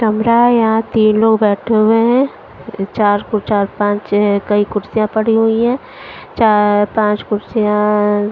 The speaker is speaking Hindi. कमरा है यहाँ तीन लोग बैठे हुए हैं चार फुर चार पाँच कई कुर्सियाँ पड़ी हुई हैं चार पाँच कुर्सियाँाँाँ --